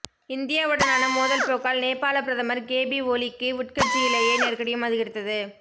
இந்தியாவுடனான மோதல் போக்கால் நேபாள பிரதமர் கேபி ஒலிக்கு உட்கட்சியிலேயே நெருக்கடியும் அதிகரித்தது